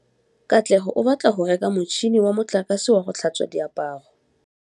Katlego o batla go reka motšhine wa motlakase wa go tlhatswa diaparo.